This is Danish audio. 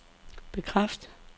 bekræft